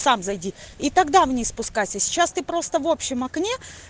сам зайди и тогда вниз спускайся сейчас ты просто в общем окне